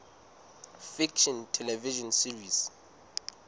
fiction television series